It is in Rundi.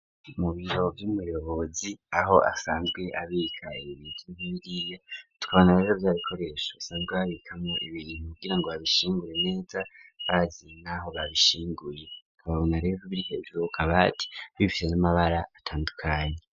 Mu biro vy'umuyobozi aho asanzwe abika ibibintu tukabona rezo byabikoresha asanzwe babikamo ibintu kugira ngo babishinguye neza baziye n'aho babishinguye ababona republica ijbukabati bifite n'amabara atandukanye.